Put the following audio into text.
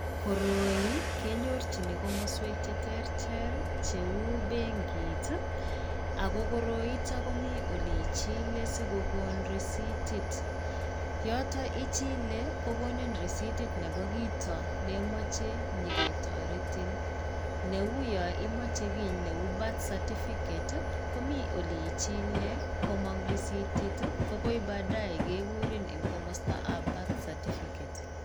Koroi kenyorchini komoswek cheterter leu benkit, ako koroitok komi ole ichile sikokon risitit. Yotok ichile kokonin risitit nebo kito neimoche nyiketoretin. Neuyo imoche kiiy neu birth certificate komi ole ichile komong' risitit, ko koi baadaye kekurin eng komostoap birth certificate.